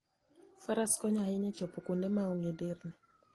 Faras konyo ahinya e chopo kuonde ma onge nderni.